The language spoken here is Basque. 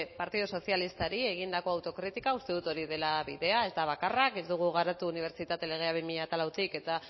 partido sozialistari egindako autokritika uste dut hori dela bidea ez da bakarra ez dugu garatu unibertsitate legea bi mila lau eta